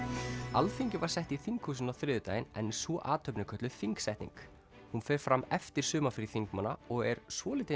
Alþingi var sett í þinghúsinu á þriðjudaginn en sú athöfn er kölluð þingsetning hún fer fram eftir sumarfrí þingmanna og er svolítið